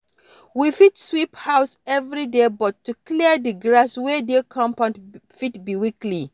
We fit sweep house everyday but to clear di grass wey dey compound fit be weekly